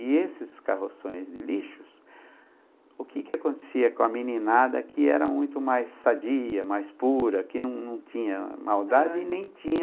E esses carroções de lixos, o que que acontecia com a meninada que era muito mais sadia, mais pura, que não não tinha maldade e nem tinha...